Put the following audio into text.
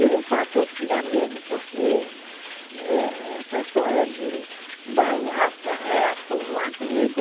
E, de fato, eu tinha medo, porque essa história de balaça reto não é comigo.